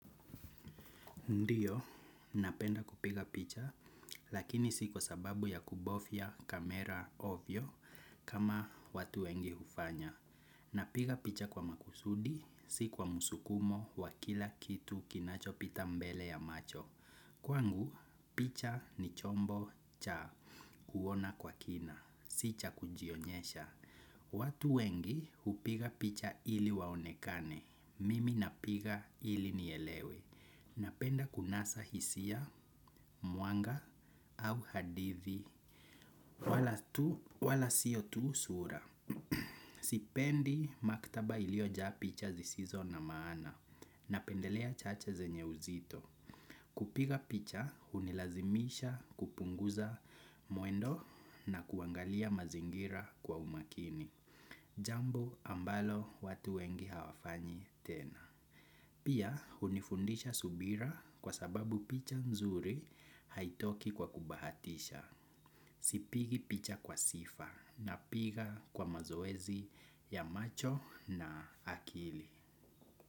Ndiyo, napenda kupiga picha, lakini si kwa sababu ya kubofia kamera ovyo kama watu wengi hufanya. Napiga picha kwa makusudi, si kwa musukumo wa kila kitu kinacho pita mbele ya macho. Kwangu, picha ni chombo cha kuona kwa kina, si cha kujionyesha. Watu wengi upiga picha ili waonekane, mimi napiga ili nielewe. Napenda kunasa hisia, mwanga au hadithi wala tu, wala siyo tu sura. Sipendi maktaba iliojaa picha zisizo na maana napendelea chache zenye uzito. Kupiga picha unilazimisha kupunguza mwendo na kuangalia mazingira kwa umakini. Jambo ambalo watu wengi hawafanyi tena. Pia unifundisha subira kwa sababu picha nzuri haitoki kwa kubahatisha. Sipigi picha kwa sifa napiga kwa mazoezi ya macho na akili.